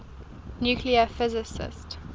nuclear physics